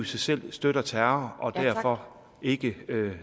sig selv støtter terror og derfor ikke